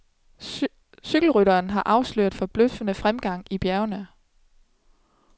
Cykelrytteren har afsløret forbløffende fremgang i bjergene.